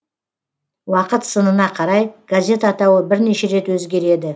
уақыт сынына қарай газет атауы бірнеше рет өзгереді